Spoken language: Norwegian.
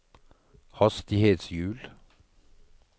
hastighetshjul